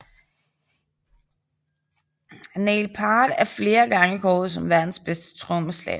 Neil Peart er flere gange kåret som verdens bedste trommeslager